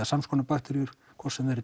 samskonar bakteríur hvort sem þær